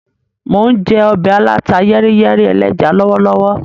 Mo n jẹ ọbẹ aláta-yẹ́ríyẹ́rí ẹlẹ́ja lọwọlọwọ.